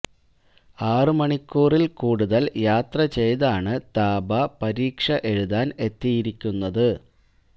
ആറ് മണിക്കൂറില് കൂടുതല് യാത്ര ചെയ്താണ് താബ പരീക്ഷ എഴുതാന് എത്തിയിരിക്കുന്നത്